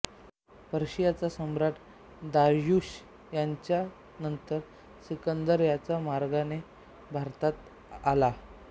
पर्शियाचा सम्राट दाऱ्युश याच्यानंतर सिकंदर याच मार्गाने भारतात आला